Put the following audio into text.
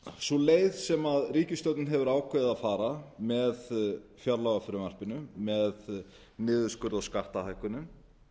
sú leið sem ríkisstjórnin hefur ákveðið að fara með fjárlagafrumvarpinu með niðurskurði á skattahækkunum